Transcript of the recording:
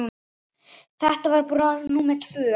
Þetta var brú númer tvö.